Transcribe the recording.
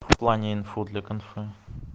в плане инфо для конфы